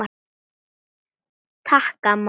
Takk amma.